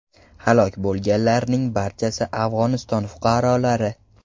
Halok bo‘lganlarning barchasi Afg‘oniston fuqarolari.